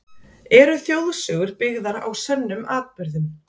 Eru þjóðsögur byggðar á sönnum atburðum?